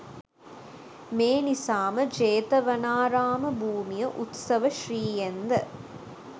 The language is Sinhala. මේ නිසාම ජේතවනාරාම භූමිය උත්සවශ්‍රීයෙන් ද